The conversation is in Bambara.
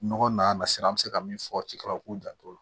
Nɔgɔ nan sera an bɛ se ka min fɔ cikɛlaw k'u janto o la